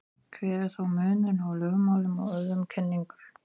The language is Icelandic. hver er þá munurinn á lögmálum og öðrum kenningum